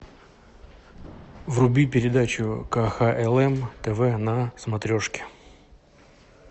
вруби передачу кхлм тв на смотрешке